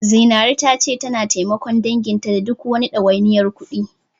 Zinaru tana cewa tana taimakon danginta da duk wani ɗawainiyar kuɗi.